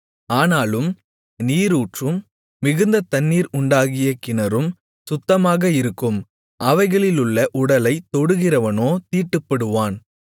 ஆனாலும் நீரூற்றும் மிகுந்த தண்ணீர் உண்டாகிய கிணறும் சுத்தமாக இருக்கும் அவைகளிலுள்ள உடலைத் தொடுகிறவனோ தீட்டுப்படுவான்